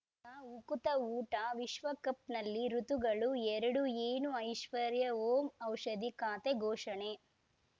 ಉಕುತ ಊಟ ವಿಶ್ವಕಪ್‌ನಲ್ಲಿ ಋತುಗಳು ಎರಡು ಏನು ಐಶ್ವರ್ಯಾ ಓಂ ಔಷಧಿ ಖಾತೆ ಘೋಷಣೆ